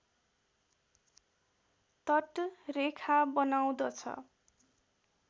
तट रेखा बनाउँदछ